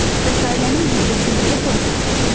Bəs ailənin büdcəsi necə formalaşır?